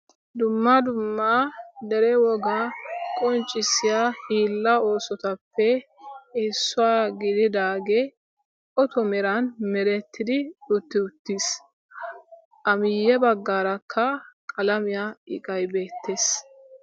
Dumma dumma dere wogaa qonccissiya hiilla oosotuppe issuwa gididaagee oto metan merettidi utti uttis. A miyye baggaarakka qalamiya iqayi beettes.